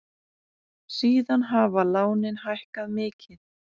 Síðan hafa lánin hækkað mikið.